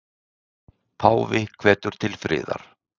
Páfi hvetur til friðar